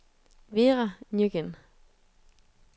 Vera Nguyen